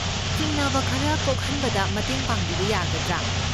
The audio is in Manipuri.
ꯆꯤꯡꯅꯕ ꯈꯔ ꯀꯣꯛꯍꯟꯕꯗ ꯃꯇꯦꯡ ꯄꯥꯡꯕꯤꯕ ꯌꯥꯒꯗ꯭ꯔꯥ?